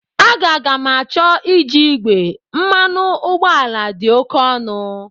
Aga ga-m acho iji igwe, mmanụ ụgbọala dị oke ọnụ.